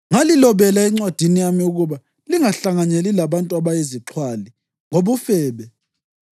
Ngalilobela encwadini yami ukuba lingahlanganyeli labantu abayizixhwali ngobufebe,